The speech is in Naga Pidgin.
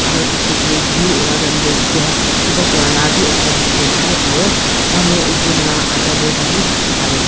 aro bichae tae jui olai time tae gas kipa kurala bi ekta dikhiase aro manu ekjon la adha body bi dikhipaiase--